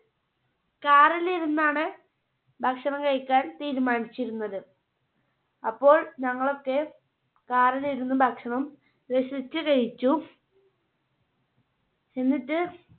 car ൽ ഇരുന്നാണ് ഭക്ഷണം കഴിക്കാൻ തീരുമാനിച്ചിരുന്നത്. അപ്പോൾ ഞങ്ങളൊക്കെ car ൽ ഇരുന്ന് ഭക്ഷണം രസിച്ച് കഴിച്ചു. എന്നിട്ട്